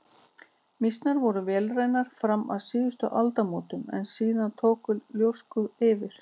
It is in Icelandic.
Mýsnar voru vélrænar fram að síðustu aldamótum en síðan tóku ljóskurnar yfir.